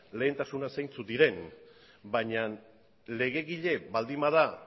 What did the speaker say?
lehentasunak zeintzuk diren baina legegile baldin bada